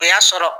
O y'a sɔrɔ